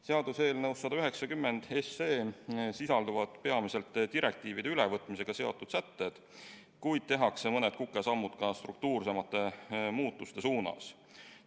Seaduseelnõus 190 sisalduvad peamiselt direktiivide ülevõtmisega seotud sätted, kuid tehakse mõni kukesamm ka struktuursemate muutuste suunas.